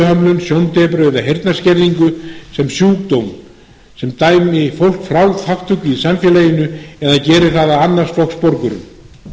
hreyfihömlun sjóndepru eða heyrnarskerðingu sem sjúkdóm sem dæmi fólk frá þátttöku í samfélaginu eða geri það að annars flokks borgurum